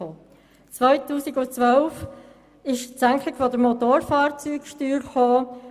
Im Jahr 2012 folgte die Senkung der Motorfahrzeugsteuer.